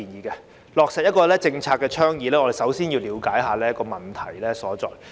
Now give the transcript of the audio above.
要落實政策倡議，必須先了解問題所在。